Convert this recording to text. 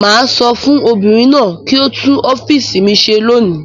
Mà á sọ fún obìnrin náà kí ó tún ọ́fíísì mi ṣe lónìí.